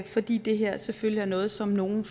fordi det her selvfølgelig er noget som nogen